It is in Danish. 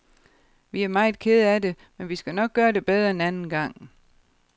Vi er meget kede af det, men vi skal nok gøre det bedre en anden gang.